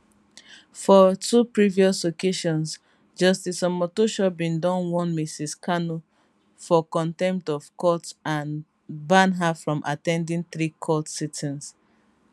for two previous occasions justice omotosho bin don warn mrs kanu for contempt of court and ban her from at ten ding three court sittings